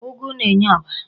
Ụgụ na-enye ọbara.